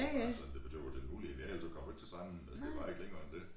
Men altså det var det var ulige men ellers kom ikke til stranden og det var ikke længere end dét